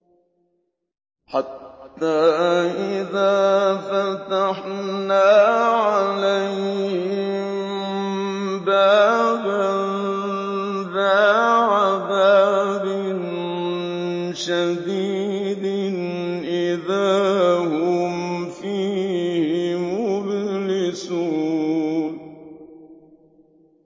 حَتَّىٰ إِذَا فَتَحْنَا عَلَيْهِم بَابًا ذَا عَذَابٍ شَدِيدٍ إِذَا هُمْ فِيهِ مُبْلِسُونَ